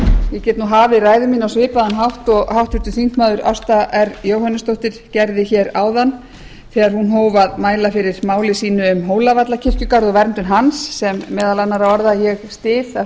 ég get hafið ræðu mína á svipaðan hátt og háttvirtur þingmaður ásta r jóhannesdóttir gerði áðan þegar hún hóf að mæla fyrir máli sínu um hólavallakirkjugarð og verndun hans sem meðal annarra orða ég styð af